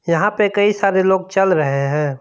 यहां पे कई सारे लोग चल रहे हैं।